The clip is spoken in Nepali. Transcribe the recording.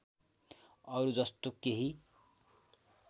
अरु जस्तो केही